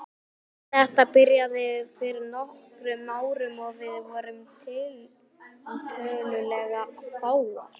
Þetta byrjaði fyrir nokkrum árum og við vorum tiltölulega fáar.